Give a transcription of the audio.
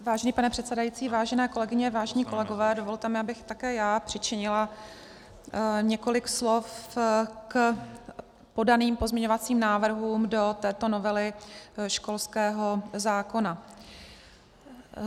Vážený pane předsedající, vážené kolegyně, vážení kolegové, dovolte mi, abych také já přičinila několik slov k podaným pozměňovacím návrhům do této novely školského zákona.